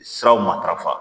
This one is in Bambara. Siraw matarafa.